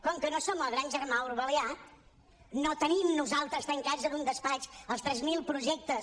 com que no som el gran germà orwellià no tenim nosaltres tancats en un despatx els tres mil projectes